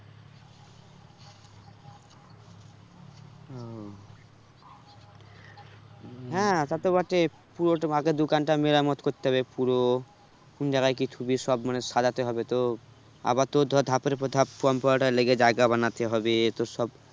ওহ হ্যাঁ তা তো বটেই পুরো তোমাকে দোকানটা মেরামত করতে হবে পুরো কোন জায়গায় কি থুবি সব মানে সাজাতে হবে তো আবার তোর ধর ধাপের ওপর ধাপ computer এর লেগে জায়গা বানাতে হবে তোর সব